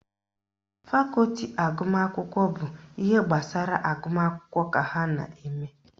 Fakọti agụmakwụkwọ bụ ihe gbasara agụmakwụkwọ ka ha na-eme